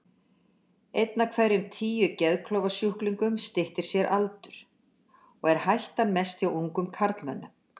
Einn af hverjum tíu geðklofasjúklingum styttir sér aldur, og er hættan mest hjá ungum karlmönnum.